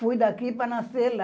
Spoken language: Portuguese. Fui daqui para nascer lá.